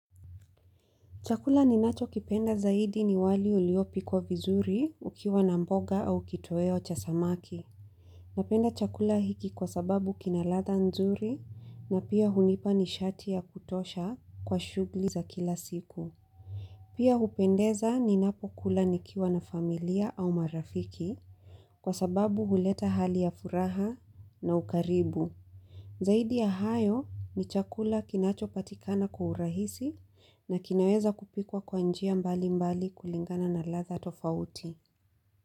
Chakula ninacho kipenda zaidi ni wali uliopikwa vizuri ukiwa na mboga au kitoweo cha samaki. Napenda chakula hiki kwa sababu kina ladha nzuri na pia hunipa nishati ya kutosha kwa shughuli za kila siku. Pia hupendeza ninapo kula nikiwa na familia au marafiki kwa sababu huleta hali ya furaha na ukaribu. Zaidi ya hayo ni chakula kinachopatikana kwa urahisi na kinaweza kupikwa kwa njia mbali mbali kulingana na ladha tofauti.